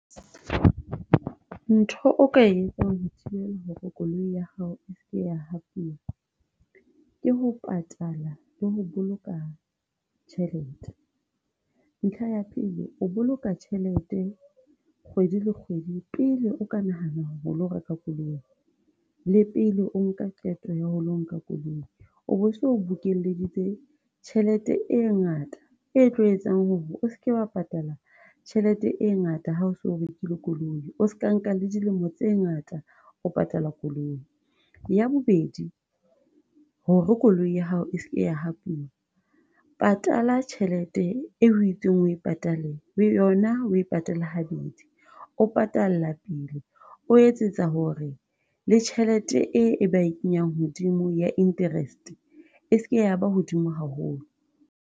Ntho o ka etsang ho thibela hore koloi ya hao e seke ya ke ho patala le ho boloka tjhelete. Ntlha ya pele, o boloka tjhelete kgwedi le kgwedi pele o ka nahana ho lo reka koloi, le pele o nka qeto ya ho lo nka koloi, o bo so bokelleditse tjhelete e ngata, e tlo etsang hore o seke wa patala tjhelete e ngata, hao so rekile koloi, o ska nka le dilemo tse ngata o patala koloi. Ya bobedi, hore koloi ya hao e seke ya patala tjhelete eo ho itsweng o e patale, yona oe patale ha bedi, o patalla pele, o etsetsa hore le tjhelete e e ba e kenyang hodimo ya interest e seke ya ba hodimo haholo.